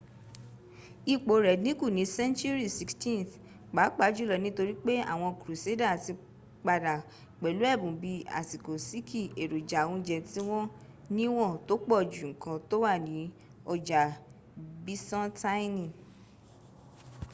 ipò rẹ̀ dïnkù ní senturi 16th pápá jùlo nítorí pé àwọn kruseda ti padà pẹ̀lú ẹ̀bùn bíi aṣọ síkì èròjà oúnjẹ́ tí wọ́n níwọ̀n tó pọ̀ ju nkan tó wà ní ọjà bisantaini